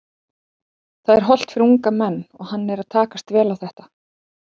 Það er hollt fyrir unga menn og hann er að takast vel á þetta.